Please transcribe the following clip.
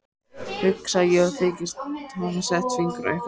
Hugsa ég og þykist hafa sett fingur á einhvern punkt.